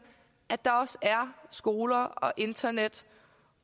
at der også er skoler og internet